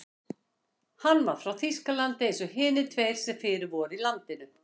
Hann var frá Þýskalandi eins og hinir tveir sem fyrir voru í landinu.